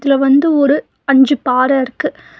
இதுல வந்து ஒரு அஞ்சு பாற இருக்கு.